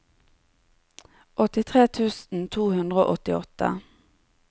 åttitre tusen to hundre og åttiåtte